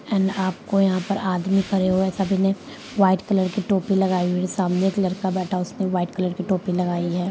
And आपको यहाँ पर आदमी खड़े हुए सभी ने वाइट कलर की टोपी लगाई हुई सामने एक लड़का बैठा उसने वाइट कलर की टोपी लगाई है।